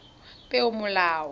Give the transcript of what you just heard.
peomolao